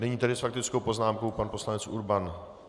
Nyní tedy s faktickou poznámkou pan poslanec Urban.